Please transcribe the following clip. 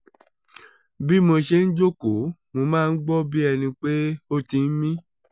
bí mo ṣe ń jókòó mo máa ń gbọ́ bí ẹni pé ó ti ń mí